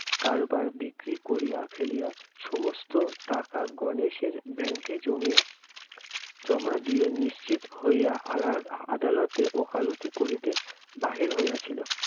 কারবার বিক্রি করিয়া ফেলিয়া- সমস্ত টাকা গণেশের bank এ জমিয়া- জমা দিয়ে নিশ্চিত হইয়া আলা~ আদালতে ওকালতি করিতে বাহির হইয়াছিল।